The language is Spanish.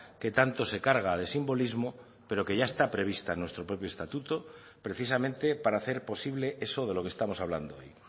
que tanto se carga de simbolismo pero que ya está prevista en nuestro propio estatuto precisamente para hacer posible eso de lo que estamos hablando hoy